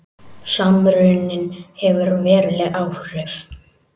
Samruninn hefur veruleg áhrif